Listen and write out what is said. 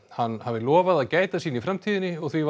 hann hafi lofað að gæta sín í framtíðinni og því